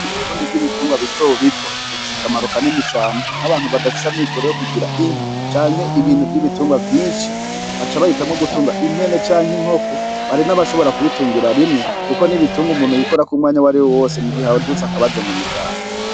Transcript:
Mu burundi bw'ibitungwa bito bito bufise akamaro kanini cane nk'abantu badafise amikore yo kugira inka canke ibintu vy'ibitungwa vyinshi baca bahitamwo gutunga impene canke inkoko bari n' abashobora kubitungira rimwe, kuko n'ibitunga umuntu yikorako umwanya w'ari we wose mu gihe awo dutse akabazo mu muryango.